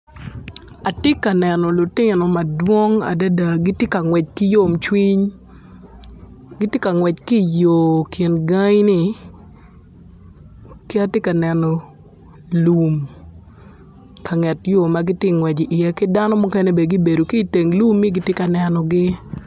Atye ka neno lutino madwong adada ma gitye ka ngwec ki yomcwiny gitye ka ngwec ki i yo kingai ki atye ka neno lum ka nget yo ma gitye ka ngwec iye ki dano muken gubedo ki i nget yo gitye ka nenogi.